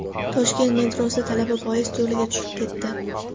Toshkent metrosida talaba poyezd yo‘liga tushib ketdi.